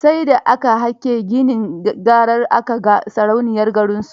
Sai da aka hake ginin garar aka ga sarauniyarsu.